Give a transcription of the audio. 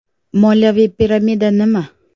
Moliyaviy piramida nima?.